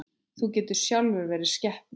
Þú getur sjálfur verið skepna!